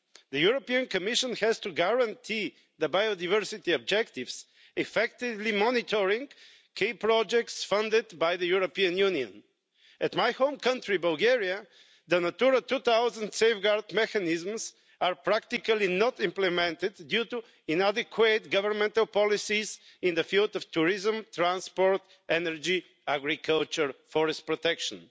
The European Commission has to guarantee the biodiversity objectives, effectively monitoring key projects funded by the European Union. In my home country, Bulgaria, the Natura 2000 safeguard mechanisms are practically not implemented due to inadequate governmental policies in the field of tourism, transport, energy, agriculture and forest protection.